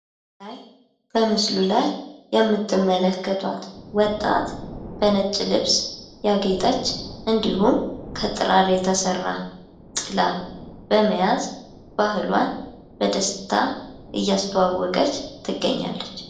በምስሉ ላይ የምትመለከቷት ወጣት በነጭ ልብስ ያጌጠች እንዲሁም ከጥራር የተሰራ ጥላ በመያዝ ባህሏን በደስታ እያስተዋወቀች ትገኛለች ።